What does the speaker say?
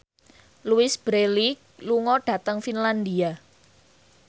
Louise Brealey lunga dhateng Finlandia